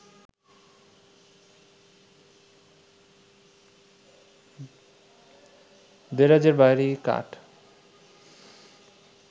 দেরাজের ভারি কাঠ